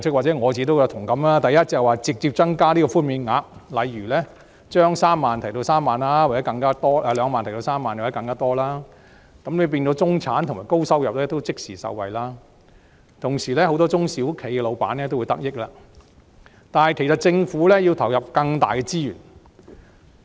第一，直接增加寬免額，例如把上限2萬元提升至3萬元或更多，讓中產及高收入人士也能即時受惠的同時，也能令很多中小企的老闆得益，但當然政府要投入更多資源。